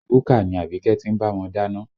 Búkà ni Abike ti ń bá wọn dáná